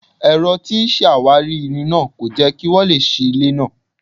Ẹ̀rọ tí ń ṣàwárí irin náà kò jẹ́ kí n wọlé sí ilé náà.